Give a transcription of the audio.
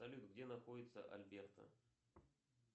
салют где находится альберта